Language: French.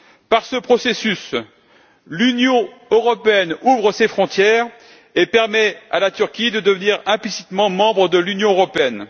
Par ce processus, l'Union européenne ouvre ses frontières et permet à la Turquie de devenir implicitement membre de l'Union européenne.